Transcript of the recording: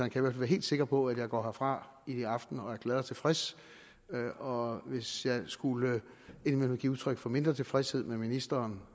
kan være helt sikker på at jeg går herfra i aften og er glad og tilfreds og hvis jeg skulle give udtryk for mindre tilfredshed med ministeren